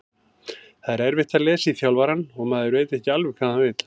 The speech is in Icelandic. Það er erfitt að lesa í þjálfarann og maður veit ekki alveg hvað hann vill.